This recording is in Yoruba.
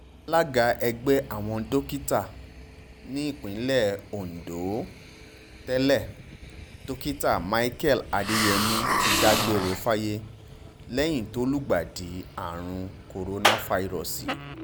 alága ẹgbẹ́ àwọn dókítà nípìnlẹ̀ ondo tẹ́lẹ̀ dókítà michael adeyeri ti dágbére fáyé lẹ́yìn tó lùgbàdì àrùn korofairósósì